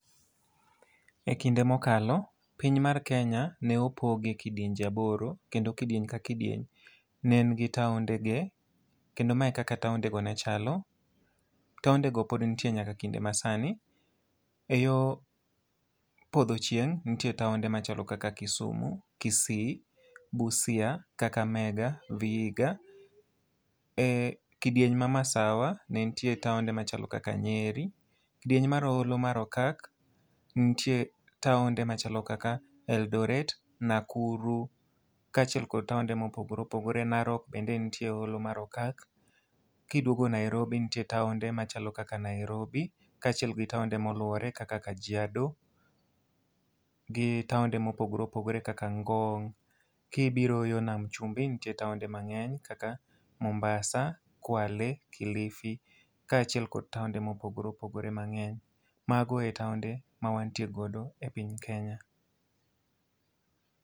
E kinde mokalo, piny mar Kenya ne opoge kidienje aboro, kendo kidieny ka kidieny ne en gi taonde ge. Kendo ma e kaka taonde go ne chalo, taonde go pod nitie nyaka kinde ma sani. E yo podho chieng' ntie taonde machalo kaka Kisumu, Kisii, Busia, Kakamega, Vihiga. E kidieny ma Masawa ne ntie taonde machalo kaka Nyeri. Kidieny mar Holo mar Okak, ntie taonde machalo kaka Eldoret, Nakuru, kaachiel kod taonde mopogore opogore. Narok bende nitie e Holo mar Okak. Kiduogo Nairobi ntie taonde machalo kaka Nairobi, kaachiel gi taonde moluwore kaka Kajiado, gi taonde mopogore opogore kaka Ngong'. Kibiro yo nam chumbi ntie taonde mang'eny kaka Mombasa, Kwale, Kilifi, kaachiel kod taonde mopogore opogore mang'eny. Mago e taonde ma wantie godo e piny Kenya.